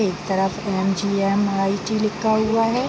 एक तरफ एम.जी.एम.आई.टी. लिखा हुआ है।